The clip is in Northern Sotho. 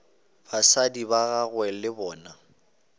batswadi ba gagwe le bona